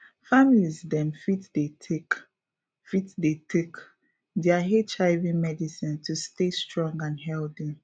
families dem fit dey take fit dey take their hiv medicine to stay strong and healthy